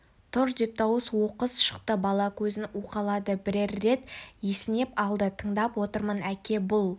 тұр деп дауыс оқыс шықты бала көзін уқалады бірер рет есінеп алды тыңдап отырмын әке бұл